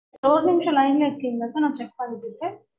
ஒரு நிமிஷம் line ல இருக்கீங்களா sir நான் check பண்ணிட்டு இருக்கேன்